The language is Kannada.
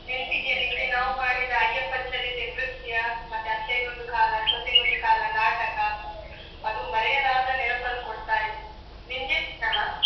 ನೆನಪಿದೆಯಾ ನಿಂಗೆ? ನಾವು ಮಾಡಿದ ಅಯ್ಯಪ್ಪ ಚರಿತೆ ನೃತ್ಯ ಮತ್ತೆ ಅತ್ತೆಗೊಂದು ಕಾಲ ಸೊಸೆಗೊಂದು ಕಾಲ ನಾಟಕ. ಅದು ಮರೆಯಲಾದ ನೆನಪನ್ನು ಕೊಡ್ತಾ ಇದೆ. ನಿಂಗೆ ಅಲಾ?